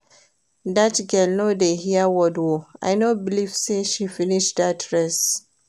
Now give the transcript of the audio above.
Dat girl no dey hear word oo, I no believe say she finish dat race